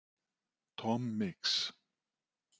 Tom Mix